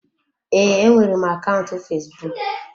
Ee, enwere m akaụntụ fesbụụk.